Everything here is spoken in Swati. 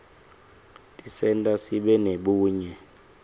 tisenta sibe nebunye